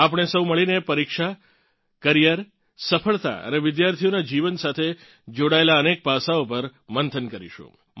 આપણે સૌ મળીને પરીક્ષા કરિયર સફળતા અને વિદ્યાર્થીઓનાં જીવન સાથે જોડાયેલ અનેક પાસાઓ પર મંથન કરીશું